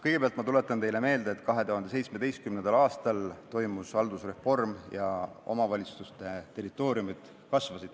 Kõigepealt tuletan ma teile meelde, et 2017. aastal toimus haldusreform ja omavalitsuste territooriumid kasvasid.